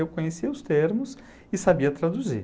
Eu conhecia os termos e sabia traduzir.